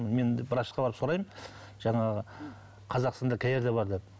мен врачқа барып сұраймын жаңағы қазақстанда қай жерде бар деп